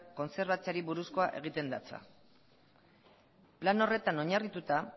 kontserbatzeari buruzkoa egitean datza plan horretan oinarrituta